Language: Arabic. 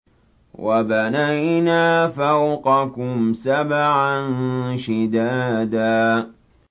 وَبَنَيْنَا فَوْقَكُمْ سَبْعًا شِدَادًا